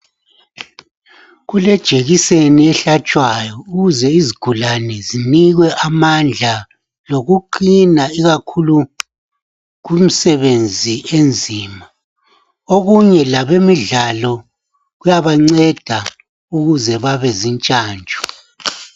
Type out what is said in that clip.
Kulejekiseni ehlatshwayo ukuze izigulane zinikwe amandla lokuqina ikakhulu kumsebenzi enzima. Okunye labemidlalo kuyabanceda ukuze babezintshantshu.